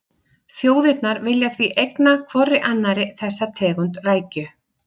Þjóðirnar vilja því eigna hvorri annarri þessa tegund rækju.